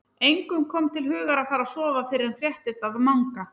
Engum kom til hugar að fara að sofa fyrr en fréttist af Manga.